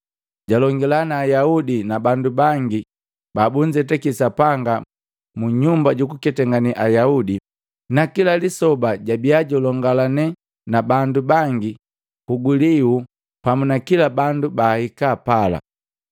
Jalongila na Ayaudi na bandu bangi babunzetaki Sapanga munyumba juku ketangane Ayaudi, na kila lisoba jabia julongalane na bandu bangi kugulio pamu na kila bandu baahika pala.